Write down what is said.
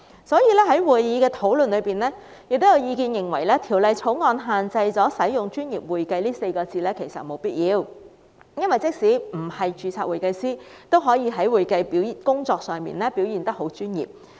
所以，法案委員會進行討論時，亦有意見認為《條例草案》沒有必要限制使用"專業會計"這稱謂，因為即使不是註冊會計師，也可以在會計工作上表現得很專業。